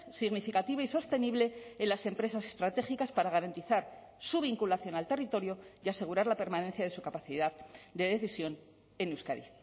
significativa y sostenible en las empresas estratégicas para garantizar su vinculación al territorio y asegurar la permanencia de su capacidad de decisión en euskadi